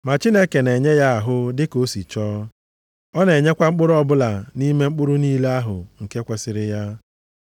Ma Chineke na-enye ya ahụ dịka o si chọọ. Ọ na-enyekwa mkpụrụ ọbụla nʼime mkpụrụ niile ahụ nke kwesiri ya.